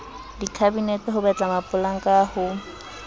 dikhabinete ho betla mapolanka ho